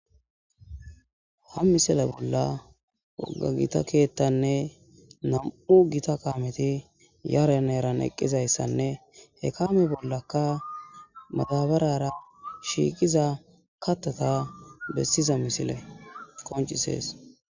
Ha misale bolla wogga gita keettanne nam'u gita kaameti yaren eran eqqizayssanne he kaame bollaka madabarara shiiqiza kattata bessiza misile qoncisees.